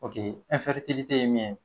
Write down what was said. ye min ye